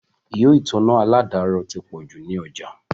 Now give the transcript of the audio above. Ihò ìtanná àládàrọ̀ ti pọ̀ jù ní ọjà